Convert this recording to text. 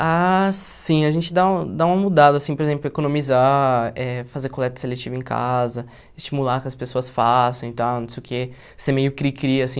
Ah, sim, a gente dá um dá uma mudada, assim, por exemplo, economizar, eh fazer coleta seletiva em casa, estimular que as pessoas façam e tal, não sei o que, ser meio cri-cri, assim.